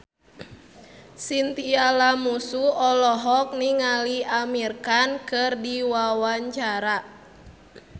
Chintya Lamusu olohok ningali Amir Khan keur diwawancara